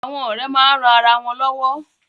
Àwọn ọ̀rẹ́ máa ń ran ara wọn lọ́wọ́.